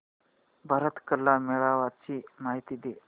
भारत कला मेळावा ची माहिती दे